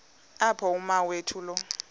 apho umawethu lo